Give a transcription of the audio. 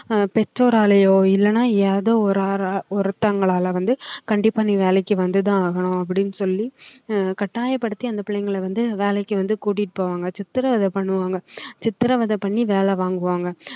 அஹ் பெற்றோராலயோ இல்லைன்னா ஏதோ ஒருத்தவங்களால வந்து கண்டிப்பா நீ வேலைக்கு வந்துதான் ஆகணும் அப்படின்னு சொல்லி அஹ் கட்டாயப்படுத்தி அந்த பிள்ளைங்களை வந்து வேலைக்கு வந்து கூட்டிட்டு போவாங்க சித்திரவதை பண்ணுவாங்க சித்திரவதை பண்ணி வேலை வாங்குவாங்க